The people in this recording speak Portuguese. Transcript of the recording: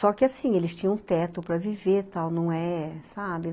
Só que assim, eles tinham teto para viver, tal, não é, sabe?